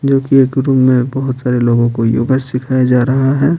जो कि एक रूम में बहुत सारे लोगों को योगा सिखाया जा रहा है।